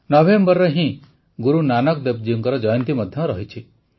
ନଭେମ୍ବରରେ ହିଁ ଗୁରୁ ନାନକ ଦେବ ଜୀଙ୍କ ଜୟନ୍ତୀ ମଧ୍ୟ ଅଛି